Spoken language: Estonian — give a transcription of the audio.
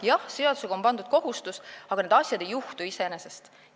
Jah, seadusega on pandud kohustus, aga need asjad ei juhtu iseenesest.